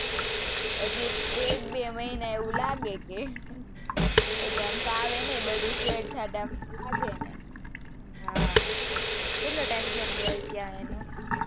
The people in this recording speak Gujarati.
હજી એક બે મહિના એવું લાગે કે આમ ફાવે નાઈ બધું set થતા વાર લાગે એને હા કેટલો time થયો એને ગયે ત્યાં,